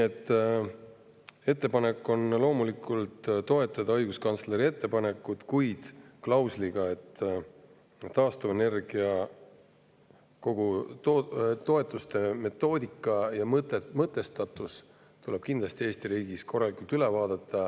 Ettepanek on loomulikult toetada õiguskantsleri ettepanekut, kuid klausliga, et kogu taastuvenergia toetuste metoodika ja mõtestatus tuleb kindlasti Eesti riigis korralikult üle vaadata.